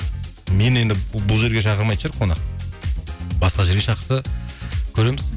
мені енді бұл жерге шақырмайтын шығар қонақ басқа жерге шақырса көреміз